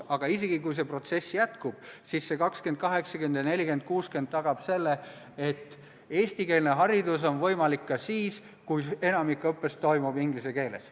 Aga isegi juhul, kui see protsess jätkub, tagavad 20 : 80 ja 40 : 60 selle, et eestikeelne haridus on võimalik ka siis, kui enamik õppest toimub inglise keeles.